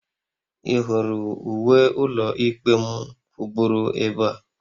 Ị hụrụ uwe ụlọikpe m kwụgburu ebe a?